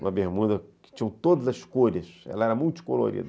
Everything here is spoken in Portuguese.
Uma bermuda que tinha todas as cores, ela era multicolorida.